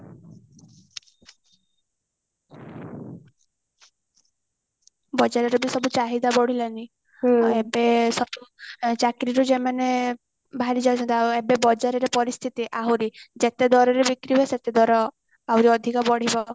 ବଜାରେ ଯେମତି ସବୁ ଚାହିଦା ବଢି ଲାଣି ଏବେ ସବୁ ଚାକିରି ରୁ ଯୋଉ ମାନେ ବାହାରି ଯାଇଛନ୍ତି ଆଉ ଏବେ ବଜାର ରେ ପରିସ୍ଥିତି ଆହୁରି ଯେତେ ଦରରେ ବିକ୍ରି ହବ ସେତେ ଦର ଆହୁରି ବଢିବ